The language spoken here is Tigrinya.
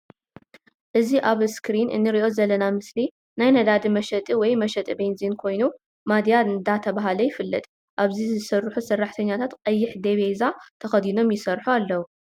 እዚ ኣብ ኣስክሪን እንሪኦ ዘለና ምስሊ ናይ ነዳዲ መሸጢ ወይ መሽጢ ቤንዝን ኮይኑ ማድያ ዳተብሃለ ይፍለጥ። ኣብዚ ዝሰርሑ ሰራሕተኛታት ቀይሕ ዴቢዛ ተከዲኖም ይሰርሑ ኣለዉ።